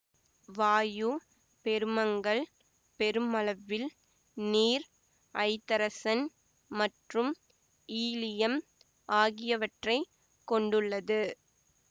வாயு பெருமங்கள் பெருமளவில் நீர் ஐதரசன் மற்றும் ஈலியம் ஆகியவற்றை கொண்டுள்ளது